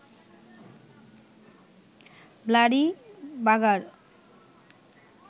bloody বাগার